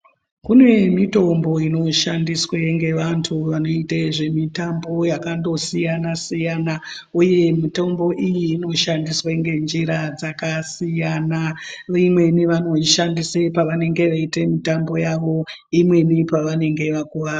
Kune mitombo inoshandiswa ngevantu vanoita zvemitambo yakatosiyana-siyana uye mitombo iyi inoshandiswa ngenjira dzakasiyana-siyana imweni vanoishandisa pavanenge veiita mitambo yavo imweni pavanenge vakuvara.